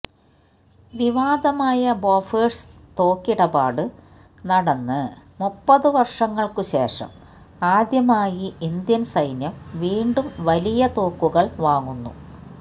വിവാദമായ Bofors തോക്കിടപാട് നടന്ന് മുപ്പത് വർഷങ്ങൾക്ക് ശേഷം ആദ്യമായി ഇന്ത്യൻ സൈന്യം വീണ്ടും വലിയ തോക്കുകൾ വാങ്ങുന്നു